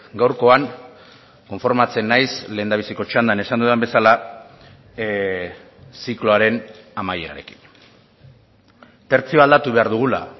gaurkoan konformatzen naiz lehendabiziko txandan esan dudan bezala zikloaren amaierarekin tertzioa aldatu behar dugula